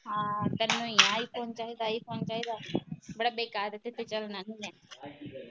ਹਾਂ ਤੈਨੂੰ ਈ ਆ ਆਈਫੋਨ ਚਾਹੀਦਾ ਆਈਫੋਨ ਚਾਹੀਦਾ। ਬੜਾ ਬੇਕਾਰ ਇੱਥੇ ਤਾ ਚਲਣਾ ਨਹੀਂ ਹੇਗਾ